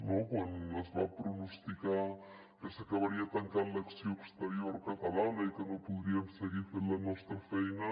no quan es va pronosticar que s’acabaria tancant l’acció exterior catalana i que no podríem seguir fent la nostra feina